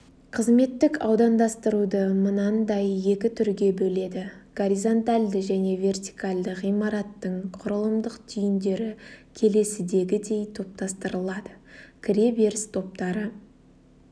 қызметтік аудандастыруды мынандай екі түрге бөледі горизонтальді және вертикальді ғимараттың құрылымдық түйіндері келесідегідей топтастырылады кіре беріс топтары